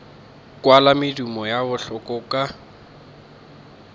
kwala medumo ya bohlola ka